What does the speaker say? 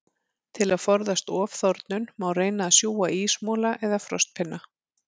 Til að forðast ofþornun, má reyna að sjúga ísmola eða frostpinna.